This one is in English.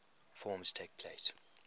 forms takes place